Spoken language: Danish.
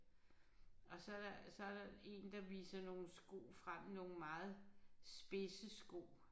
Og så så der en der viser nogle sko frem nogle meget spidse sko